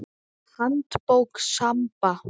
Handbók Samba.